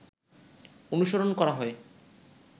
অনুসরণ করা হয়